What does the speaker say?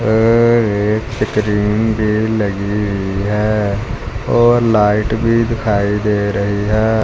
और एक स्क्रीन पर लगी हुई है और लाइट भी दिखाई दे रही है।